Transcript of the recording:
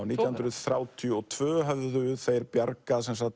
nítján hundruð þrjátíu og tvö höfðu þeir bjargað